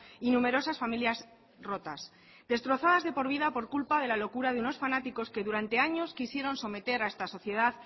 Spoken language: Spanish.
y numerosas familias rotas destrozadas de por vida por culpa de la locura de una fanáticos que durante años quisieron someter a esta sociedad